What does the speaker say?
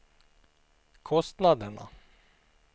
kostnaderna